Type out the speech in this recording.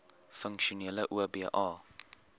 funksionele oba